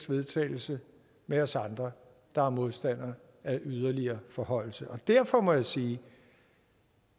vedtagelse med os andre der er modstandere af en yderligere forhøjelse og derfor må jeg sige